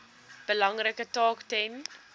belangrike taak ten